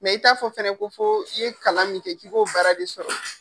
i t'a fɔ fɛnɛ ko fo i ye kalan min kɛ k'i ko baara de sɔrɔ.